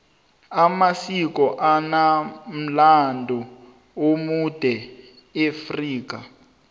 amasiko anomlando omude eafrika